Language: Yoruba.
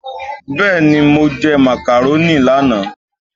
Béeni mo jẹ macaroni lánàá?